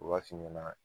O waati ɲɛna